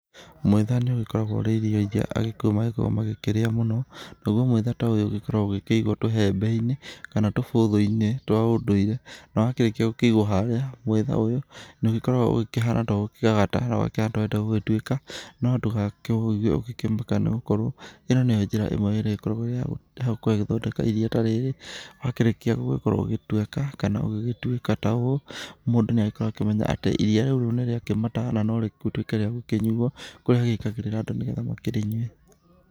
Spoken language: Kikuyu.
Mwĩtha nĩ ũgĩkoragwo ũrĩ iria rĩrĩa agĩkũyũ magĩkoragwo magĩkĩrĩa mũno, naguo mwĩtha ta ũyũ ũgĩkoragwo ũgĩkĩigwo tũhembe-inĩ kana tũbũthũ-inĩ twa ũndũire. Na wakĩrĩkia gũkĩigwo harĩa mwĩtha ũyũ nĩ ũgĩkoragwo ũkĩhana ta ũkũgagata, na wakĩhana ta ũrenda gũgĩtuĩka, no ndũgakĩũige ũrĩ- nĩ gũkorwo ĩno nĩyo njĩra ĩmwe ĩrĩa ĩgĩkoragwo ĩrĩ ya gũthondeka iria ta rĩrĩ, wakĩrĩkia gũgĩkorwo ũgĩgĩtweka kana gũgĩtuĩka ta ũũ, mũndũ nĩ agĩkoragwo akĩmenya atĩ iria rĩrĩ nĩ rĩakĩmata no rĩgĩtuĩke rĩa gũkĩnyuo kũria agĩkĩragĩrĩra andũ nĩgetha makĩnyue.